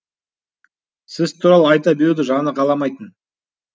сіз туралы айта беруді жаны қаламайтын